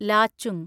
Lachung